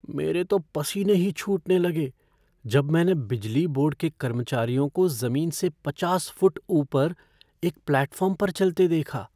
मेरे तो पसीने ही छूटने लगे जब मैंने बिजली बोर्ड के कर्मचारियों को ज़मीन से पचास फुट ऊपर एक प्लेटफ़ॉर्म पर चलते देखा।